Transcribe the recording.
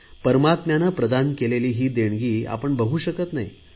परमात्म्याने प्रदान केलेली ही देणगी आपण बघू शकत नाही